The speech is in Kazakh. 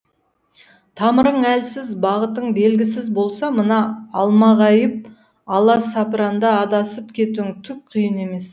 тамырың әлсіз бағытың белгісіз болса мына алмағайып аласапыранда адасып кетуің түк қиын емес